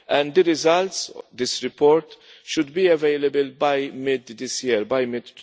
The results of this report should be available by